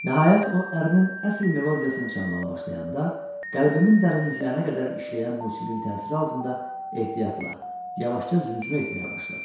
Nəhayət o ərinin əsl melodiyasını çalmağa başlayanda, qəlbimin dərinliklərinə qədər işləyən musiqinin təsiri altında ehtiyatla, yavaşca zümzümə etməyə başladım.